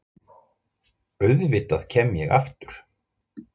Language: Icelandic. Auðvitað kem ég aftur.